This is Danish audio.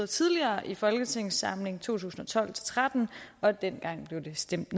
tidligere i folketingssamlingen to tusind og tolv til tretten og dengang blev det stemt